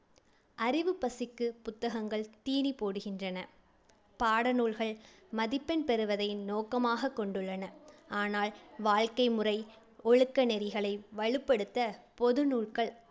அறிவுப் பசிக்குப் புத்தகங்கள் தீனி போடுகின்றன. பாடநூல்கள் மதிப்பெண் பெறுவதை நோக்கமாகக் கொண்டுள்ளன. ஆனால் வாழ்க்கை முறை⸴ ஒழுக்க நெறிகளை வழுப்படுத்த பொது நூல்கள்